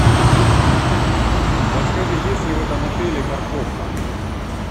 подскажи есть ли в этом отеле парковка